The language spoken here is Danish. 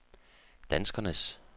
danskernes